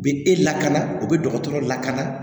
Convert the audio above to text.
U bɛ e lakana o bɛ dɔgɔtɔrɔ lakana